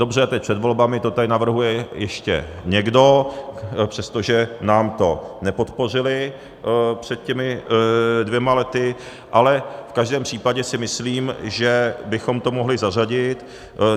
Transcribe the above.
Dobře, teď před volbami to tady navrhuje ještě někdo, přestože nám to nepodpořili před těmi dvěma lety, ale v každém případě si myslím, že bychom to mohli zařadit.